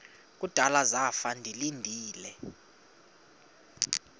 kudala zafa ndilinde